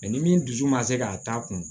ni min dusu man se ka taa kun